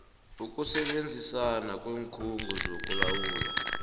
ukusebenzisana kweenkhungo zokulawulwa